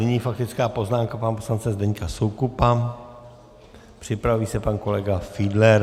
Nyní faktická poznámka pana poslance Zdeňka Soukupa, připraví se pan kolega Fiedler.